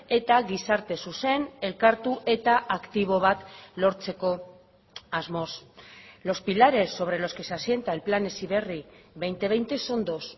eta gizarte zuzen elkartu eta aktibo bat lortzeko asmoz los pilares sobre los que se asienta el plan heziberri dos mil veinte son dos